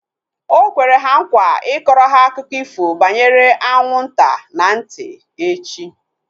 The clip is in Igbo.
Okwere ha nkwa ịkọrọ ha akụkọ ifo banyere anwụ nta na ntị echi